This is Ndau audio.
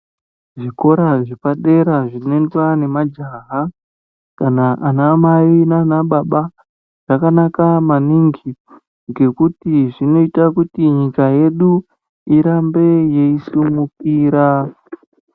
Zvikora zvepadera zvinoendwa nemajaha kana ana mai nana baba zvakanaka maningi ngekuti zvinoita kuti nyika yedu irambe yeisimukira.